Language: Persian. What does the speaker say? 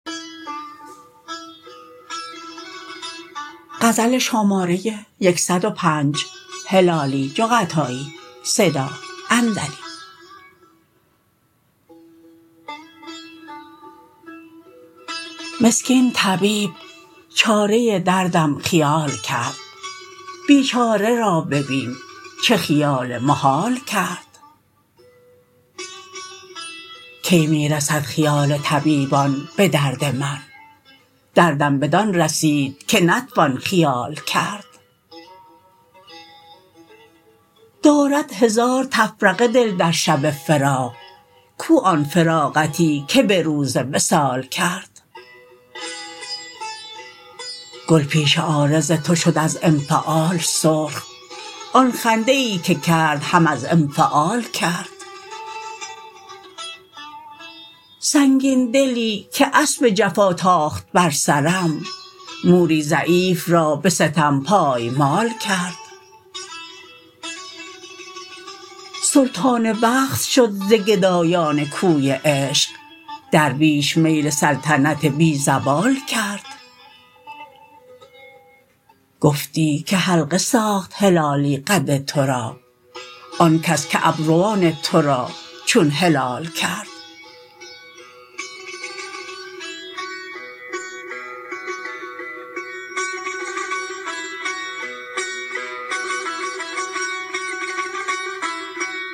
مسکین طبیب چاره دردم خیال کرد بیچاره را ببین چه خیال محال کرد کی می رسد خیال طبیبان بدرد من دردم بدان رسید که نتوان خیال کرد دارد هزار تفرقه دل در شب فراق کو آن فراغتی که بروز وصال کرد گل پیش عارض تو شد از انفعال سرخ آن خنده ای که کردهم از انفعال کرد سنگین دلی که اسب جفا تاخت بر سرم موری ضعیف را بستم پایمال کرد سلطان وقت شد ز گدایان کوی عشق درویش میل سلطنت بی زوال کرد گفتی که حلقه ساخت هلالی قد ترا آن کس که ابروان ترا چون هلال کرد